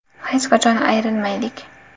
Hech qachon ayrilmaylik.